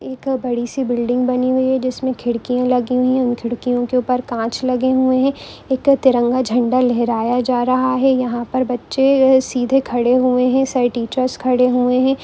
एक बड़ी सी बिल्डिंग बनी हुई है जिसमे खिड़की लगी हुई है खिरकियों के ऊपर कांच लगे हुई है एक तिरंगा झंडा लहराया जा रहा है यहां पर बच्चे सीधे खड़े हुए है सारे टीचर्स खड़े हुए है।